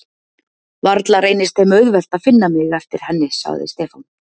Varla reynist þeim auðvelt að finna mig eftir henni sagði Stefán.